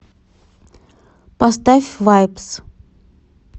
поставь вайбс